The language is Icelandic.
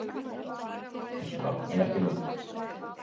Það er hans nafn en ekki mitt